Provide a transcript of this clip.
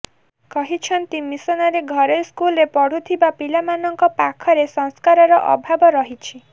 କହିଛନ୍ତି ମିସନାରୀ ଘରେଇ ସ୍କୁଲରେ ପଢୁଥିବା ପିଲା ମାନଙ୍କ ପାଖରେ ସଂସ୍କାରର ଅଭାବ ରହିଛି